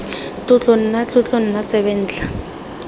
tlotlo nna tlotlo nna tsebentlha